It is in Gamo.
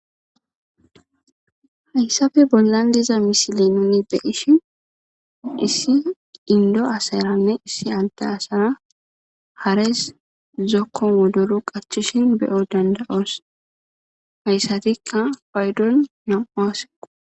Hayissappe bollani dizza misileni nuni beyishini haresi zokoni wodoro qachishini be'o dandayosi. Hayissatikka payidoni namu'u asse